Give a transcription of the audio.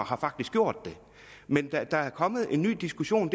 har faktisk gjort det men der er kommet en ny diskussion